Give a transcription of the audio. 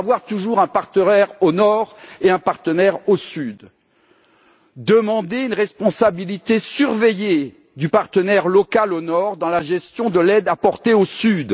il faut toujours avoir un partenaire au nord et un partenaire au sud et demander une responsabilité surveillée du partenaire local au nord, dans la gestion de l'aide apportée au sud.